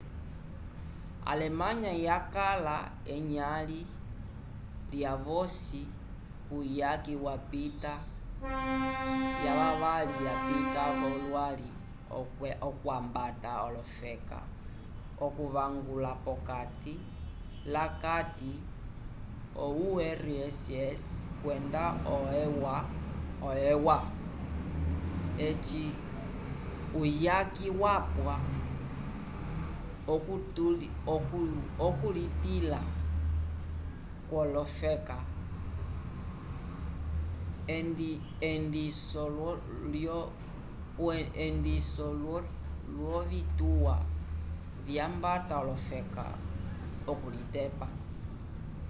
alemanya yakala enyãli lyavosi kuyaki yapita yavavali yapita v'olwali okwambata olofeka okuvangula p'okati lakati urss kwenda eua eci uyaki wapwa okulitĩla kwolofeka endiso lyovituwa vyambata olofeka okulitepa